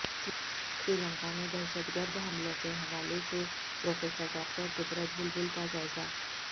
سری لنکا میں دہشت گرد حملوں کے حوالے سے پروفیسر ڈاکٹر قدرت بلبل کا جائزہ